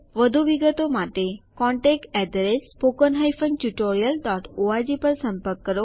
વધુ વિગતો માટે contactspoken tutorialorg પર સંપર્ક કરો